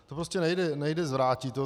To prostě nejde zvrátit.